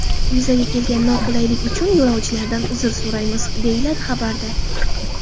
Yuzaga kelgan noqulaylik uchun yo‘lovchilardan uzr so‘raymiz”, deyiladi xabarda.